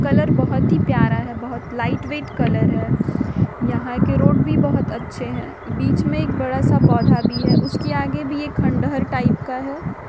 Colour बहुत ही प्यारा है बहुत लाइटवेट कलर है। यहां के रोड भी बहुत अच्छे हैं बीच मे एक बड़ा सा पोधा भी है उसके आगे भी एक खंडहर टाइप का है।